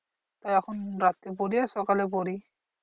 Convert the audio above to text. এখন রাত্রে পড়ি আর সকালে পড়ি।